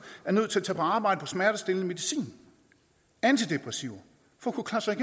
er nødt til at tage på arbejde på smertestillende medicin og antidepressiver for